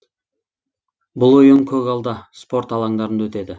бұл ойын көгалда спорт алаңдарында өтеді